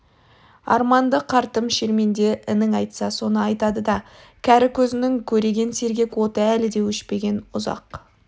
арманды қартым шерменде інің айтса соны айтадыда кәрі көзінің көреген сергек оты әлі де өшпеген ұзақ